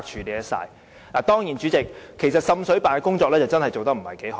主席，當然，滲水辦的工作確實也做得不太好。